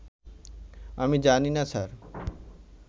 আমি জানি না, স্যার